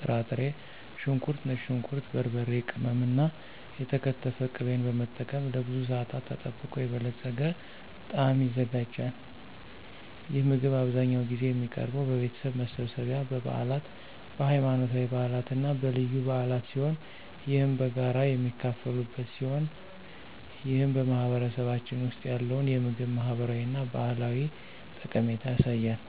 ጥራጥሬ፣ ሽንኩርት፣ ነጭ ሽንኩርት፣ በርበሬ ቅመም እና የተከተፈ ቅቤን በመጠቀም ለብዙ ሰአታት ተጠብቆ የበለፀገ ጣዕም ይዘጋጃል። ይህ ምግብ አብዛኛውን ጊዜ የሚቀርበው በቤተሰብ መሰብሰቢያ፣ በበዓላት፣ በሃይማኖታዊ በዓላት እና በልዩ በዓላት ሲሆን ይህም በጋራ የሚካፈሉበት ሲሆን ይህም በማህበረሰባችን ውስጥ ያለውን የምግብ ማህበራዊ እና ባህላዊ ጠቀሜታ ያሳያል።